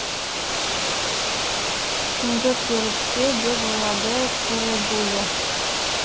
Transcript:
түнгі періште деп ойлады кэрэбуля